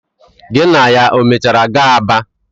Gị na ya o mechara gaa Aba?